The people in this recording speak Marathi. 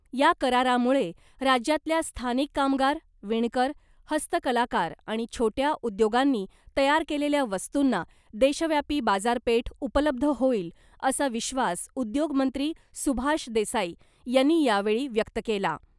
या करारामुळे राज्यातल्या स्थानिक कामगार , विणकर , हस्तकलाकार आणि छोट्या उद्योगांनी तयार केलेल्या वस्तुंना , देशव्यापी बाजारपेठ उपलब्ध होईल , असा विश्वास उद्योगमंत्री सुभाष देसाई यांनी यावेळी व्यक्त केला .